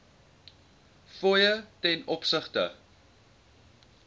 fooie ten opsigte